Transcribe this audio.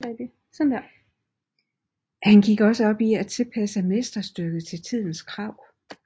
Han gik også op i at tilpasse mesterstykket til tidens krav